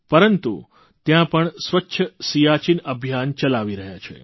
પરંતુ ત્યાં પણ સ્વચ્છ સીયાચીન અભિયાન ચલાવી રહ્યા છે